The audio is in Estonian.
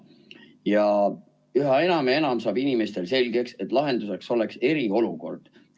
Ja üha enam ja enam saab inimestele selgeks, et lahenduseks oleks eriolukord.